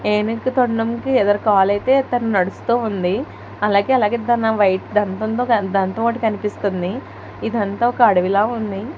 ఏనుగు తొండం కి తను నడుస్తూ ఉంది అలగలాగే కనిపిస్తుంది ఇదంతా ఒక అడవిలా ఉంది.